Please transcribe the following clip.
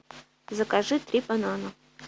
закажи три банана